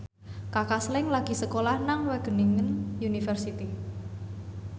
Kaka Slank lagi sekolah nang Wageningen University